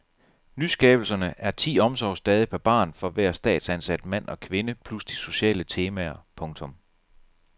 Nyskabelserne er ti omsorgsdage per barn for hver statsansat mand og kvinde plus de sociale temaer. punktum